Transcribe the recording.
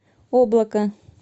облако